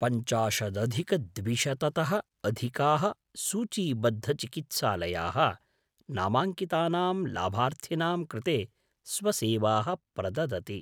पञ्चाशदधिकद्विशततः अधिकाः सूचीबद्धचिकित्सालयाः नामाङ्कितानां लाभार्थिनां कृते स्वसेवाः प्रददति।